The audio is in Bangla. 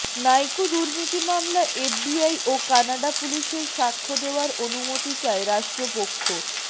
নাইকো দুর্নীতি মামলা এফবিআই ও কানাডা পুলিশের সাক্ষ্য দেওয়ার অনুমতি চায় রাষ্ট্রপক্ষ